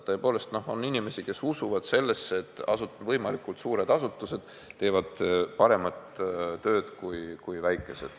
Tõepoolest on inimesi, kes usuvad sellesse, et võimalikult suured asutused teevad paremat tööd kui väikesed.